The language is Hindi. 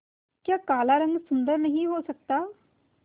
क्या काला रंग सुंदर नहीं हो सकता